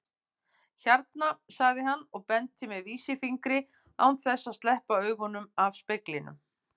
Hérna, sagði hann og benti með vísifingri án þess að sleppa augunum af speglinum.